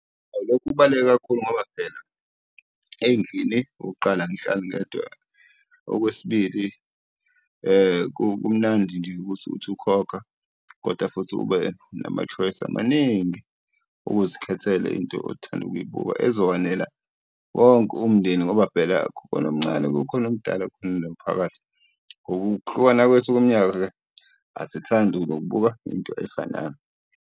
Lokhu kubaluleke kakhulu ngoba phela ey'ndlini okokuqala angihlali ngedwa. Okwesibili kumnandi nje ukuthi uthi ukhokha kodwa futhi ube nama-choice amaningi okuzikhethela into othanda ukuyibuka ezokwanela wonke umndeni, ngoba phela kukhona omncane, kukhona omdala, kukhona nomphakathi. Ngokuhlukana kwethu kweminyaka-ke asithandi nokubuka into efanayo.